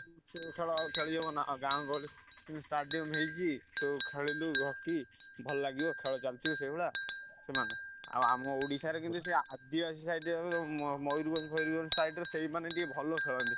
ସେ ଖେଳ ଆଉ ଖେଳି ହବ ନାଁ ଗାଁ ଗହଳି ଏ stadium ହେଇଛି, ତୁ ଖେଲିଲୁ ହକି ଭଲଲାଗିବ ଖେଳ ଚାଲିଥିବ ସେଇଭଳିଆ ସେମାନେ । ଆଉ ଆମ ଓଡ଼ିଶାରେ ସେ ଆଦିବାସୀ side ରେ ଯୋଉ ମୟୂରଭଞ୍ଜ ଫୟୂରଭଞ୍ଜ side ରେ ସେଇମାନେ ଟିକେ ଭଲ ଖେଳନ୍ତି।